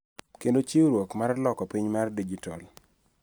Kendo chiwruok mar loko piny mar dijitol.